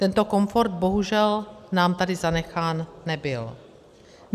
Tento komfort bohužel nám tady zanechán nebyl.